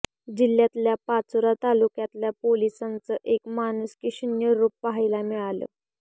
जिल्ह्यातल्या पाचोरा तालुक्यातल्या पोलिसांचं एक माणूसकीशून्य रूप पाहायला मिळालं